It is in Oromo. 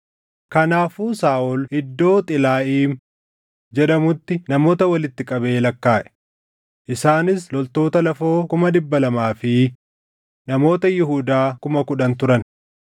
Kanaafuu Saaʼol iddoo Xilaaʼiim jedhamutti namoota walitti qabee lakkaaʼe; isaanis loltoota lafoo kuma dhibba lamaa fi namoota Yihuudaa kuma kudhan turan.